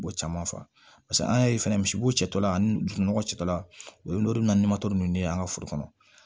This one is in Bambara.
Bɔ caman fa an y'a ye fɛnɛ misibo cɛtɔla ani dugumɔgɔ cɛtɔla o ye n'o de bɛna ni ninnu de ye an ka foro kɔnɔ